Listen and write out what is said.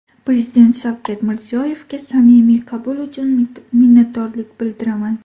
Prezident Shavkat Mirziyoyevga samimiy qabul uchun minnatdorlik bildiraman.